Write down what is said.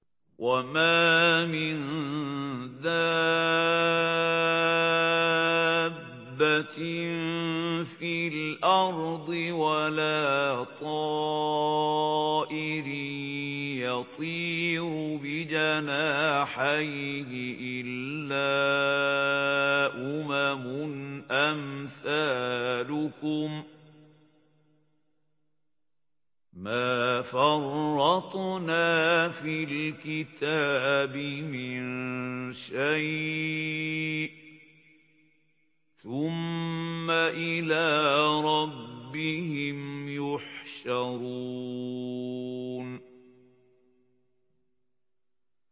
وَمَا مِن دَابَّةٍ فِي الْأَرْضِ وَلَا طَائِرٍ يَطِيرُ بِجَنَاحَيْهِ إِلَّا أُمَمٌ أَمْثَالُكُم ۚ مَّا فَرَّطْنَا فِي الْكِتَابِ مِن شَيْءٍ ۚ ثُمَّ إِلَىٰ رَبِّهِمْ يُحْشَرُونَ